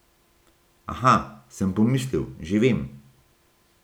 Aha, sem pomislil, že vem!